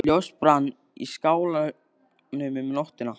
Ljós brann í skálanum um nóttina.